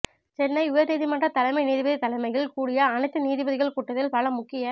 சென்னை உயர் நீதிமன்ற தலைமை நீதிபதி தலைமையில் கூடிய அனைத்து நீதிபதிகள் கூட்டத்தில் பல முக்கிய